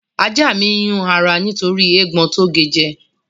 Ajá mi ń yún ara nítorí eégbọn tó ge jẹ